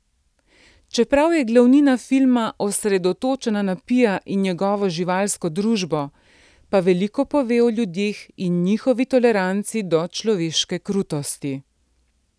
Čeprav je glavnina filma osredotočena na Pija in njegovo živalsko družbo, pa veliko pove o ljudeh in njihovi toleranci do človeške krutosti.